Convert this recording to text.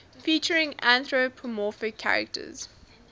featuring anthropomorphic characters